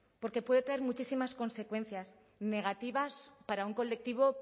porque puede tener muchísimas consecuencias negativas para un colectivo